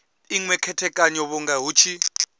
inwe khethekanyo vhunga hu tshi